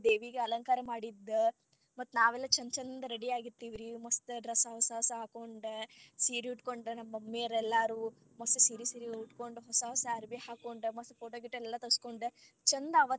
ದೇವಿಗ ಅಲಂಕಾರ ಮಾಡಿದ್ದ್ ಇಟ್ಟಿದ್ದ ಮತ್ತ ನಾವೆಲ್ಲಾ ಚಂಚಂದ ready ಆಗಿರ್ತೆವ್ರಿ ಮಸ್ತ್ dress ಹೊಸಾ ಹೊಸವ ಹಾಕೊಂಡ್ ಸೀರಿ ಉಟ್ಕೊಂಡ್ ನಮ್ mummy ಯೋರ್ ಎಲ್ಲಾರು ಮಸ್ತ ಸೀರಿ ಸೀರಿ ಉಟ್ಕೊಂಡ ಹೊಸಾ ಹೊಸಾ ಅರಬಿ ಹಾಕೊಂಡ ಮಸ್ತ್ photo ಗಿಟೊ ಎಲ್ಲಾ ತಗಸಕೊಂಡ ಚಂದ.